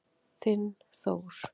Þinn Þór.